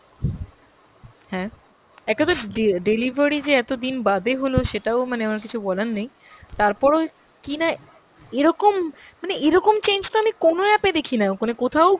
হ্যাঁ, একেতো ডে~ delivery যে এতদিন বাদে হল সেটাও মানে আমার কিছু বলার নেই। তারপরও কিনা এরকম মানে এরকম change তো আমি কোনো app এ দেখিনা, কোথাও